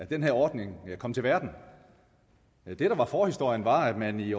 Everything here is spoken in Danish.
den her ordning kom til verden det der var forhistorien var at man i